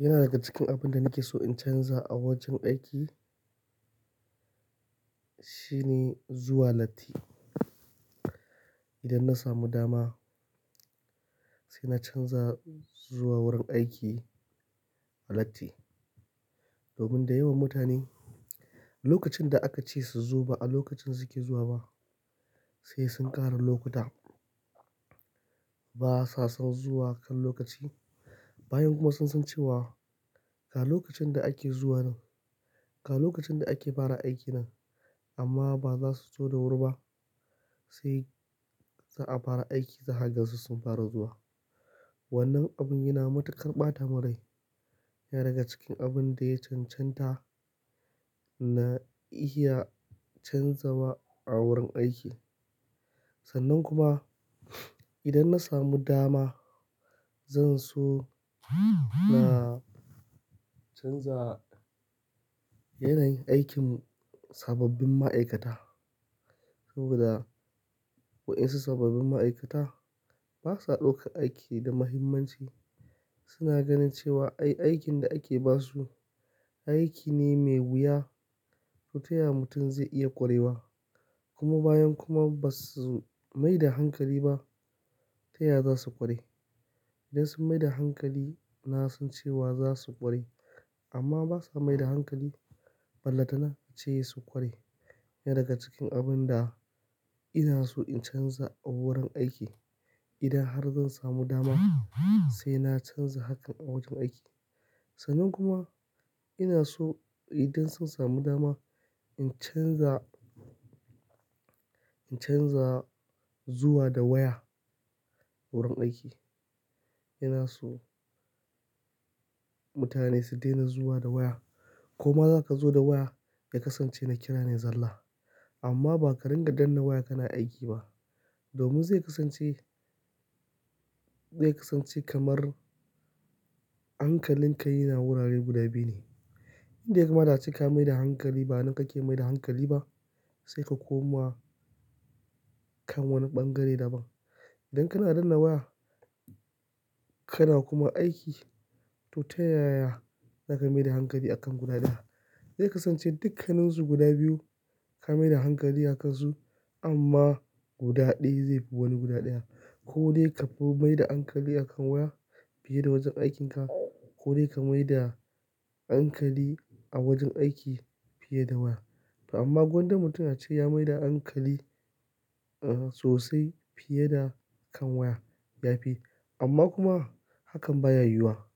Yana daga cikin abin da nake so in canza a wajen aiki, shine zuwa latti. Idan na samu dama sai na canza zuwa wurin aiki a latti. Domin da yawan mutane lokacin da aka ce su zo ba a lokacin su ke zuwa ba sai sun ƙara lokuta ba sa san zuwa kan lokaci. Bayan kuma sun san cewa ga lokacin da ake zuwa nan, ga lokacin da ake fara aiki nan amma ba za su zo da wuri ba sai za a fara aiki zaka gan su sun fara zuwa. Wannan abin yana matuƙar ɓata mun rai. Yana daga cikin abun da ya cancanta na iya canzawa a wurin aiki. Sannan kuma idan na samu dama zan so na canza yanayin aikin sababbin ma'aikata. Saboda wa'insu sababbin ma'aikata ba sa ɗaukar aiki da muhimmanci. Su na ganin cewa ai aikin da ake ba su aiki ne mai wuya to taya mutum zai iya ƙwarewa. Kuma bayan kuma ba su mai da hankali ba taya za su ƙware. Idan sun mai da hankali na son cewa za su ƙware amma ba sa mai da hankali balle ta na a ce su ƙware. Yana daga cikin abun da ina so in canza a wurin aiki. Idan har zan samu dama sai na canza hakan a wajen aiki. Sannan kuma ina so idan sun samu dama in canza, in canza zuwa da waya wurin aiki. Ina so mutane su daina zuwa da waya. Koma zaka zo da waya ya kasance na kira ne zalla amma ba ka ringa danna waya kana aiki ba. Domin zai kasance, zai kasance kamar hankalin ka yana wurare guda biyu ne. Inda ya kamata ka yi ka mai da hankali ba nan kake mai da hankali ba sai ka koma kan wani ɓangare daban. Idan kana danna waya kana kuma aiki to tayaya za ka mai da hankali akan guda ɗaya? Zai kasance dukkaninsu guda biyu ka maida hankali akan su amma guda ɗaya zai fi wani guda ɗaya. Ko dai ka fi mai da hankali akan waya fiye da wajen aikin ka ko dai ka mai da hankali a wajen aiki fiye da waya. To amma gwanda mutum ya ce ya mai da hankali, ah, sosai fiye da kan waya ya fi. Amma kuma hakan ba ya yiwuwa